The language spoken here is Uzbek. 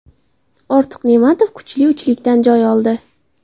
Ortiq Ne’matov kuchli uchlikdan joy oldi.